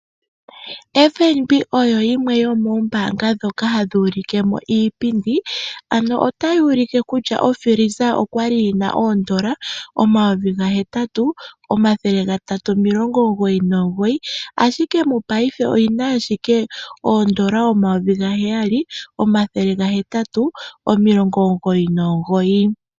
FNB oyo yimwe yomoombaanga ndhoka hadhi ulike mo iipindi. Otayi ulike kutya ofiliza oya li yi na N$ 8 399, ashike mopaife oyi na ashike N$ 7 899.